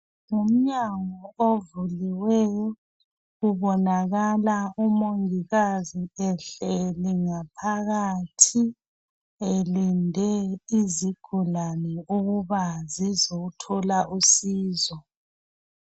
Ngumnyango ovuliweyo . Kubonakala umongikazi ehleli ngaphakathi elinde izigulane ukuba zizothola usizo.